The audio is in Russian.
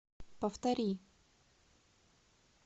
повтори